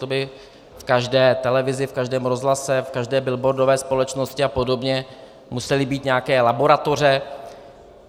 To by v každé televizi, v každém rozhlase, v každé billboardové společnosti a podobně musely být nějaké laboratoře.